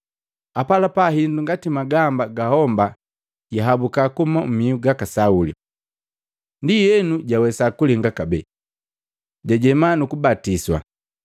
Apalapala hindu ngati magamba ga homba yahabuka kuhuma mmiu gaka Sauli, ndienu jawesa kulinga kabee. Jajema nuku batiswa.